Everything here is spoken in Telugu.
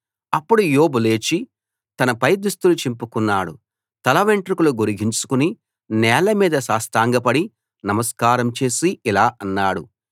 అప్పుడు యోబు లేచి తన పై దుస్తులు చింపుకున్నాడు తలవెంట్రుకలు గొరిగించుకుని నేల మీద సాష్టాంగపడి నమస్కారం చేసి ఇలా అన్నాడు